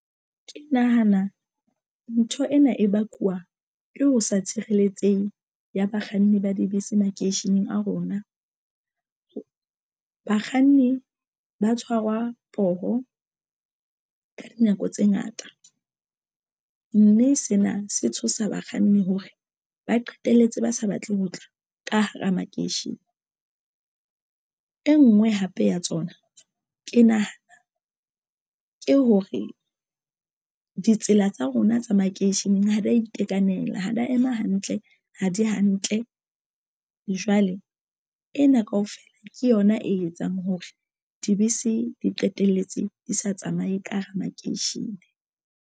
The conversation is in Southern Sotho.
Ke nahana ntho ena e bakuwa ko ho sa tshireletsehe ya bakganni ba dibese makeisheneng a rona bakganni ba tshwarwa poho ka dinako tse ngata, mme sena se tshosa bakganni hore ba qetelletse ba sa batle ho tla ka hara makeishene. E ngwe hape ya tsona ke nahana ke hore ditsela tsa rona tsa makeisheneng ha di a itekanela ha di ya ema hantle ha di hantle jwale ena kaofela ke yona e etsang hore dibese di qetelletse di sa tsamaye ka hara makeishene.